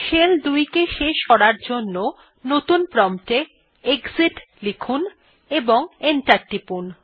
shell ২ কে শেষ করার জন্য নতুন প্রম্পট এ এক্সিট লিখুন এবং এন্টার টিপুন